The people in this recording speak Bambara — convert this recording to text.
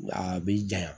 A bɛ janya